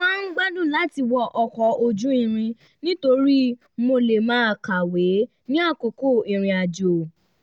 mo máa ń gbádùn láti wọkọ̀ ojú irin nítorí mo lè máa kàwé ní àkókò ìrìnrìn àjò